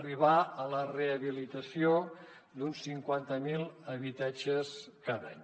arribar a la rehabilitació d’uns cinquanta mil habitatges cada any